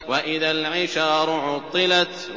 وَإِذَا الْعِشَارُ عُطِّلَتْ